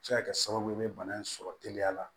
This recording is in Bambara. Se ka kɛ sababu ye be bana in sɔrɔ teliya la